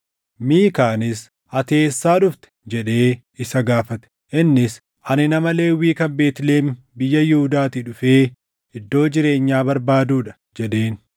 Miikaanis, “Ati eessaa dhufte?” jedhee isa gaafate. Innis, “Ani nama Lewwii kan Beetlihem biyya Yihuudaatii dhufee iddoo jireenyaa barbaaduu dha” jedheen.